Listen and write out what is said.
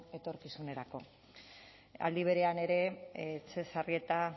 etorkizunerako aldi berean ere etxebarrieta